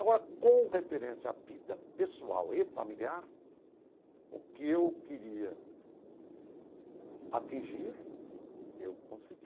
Agora, com referência à vida pessoal e familiar, o que eu queria atingir, eu consegui.